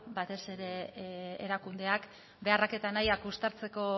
batez ere erakundeak beharrak eta nahiak uztartzeko